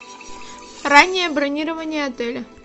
раннее бронирование отеля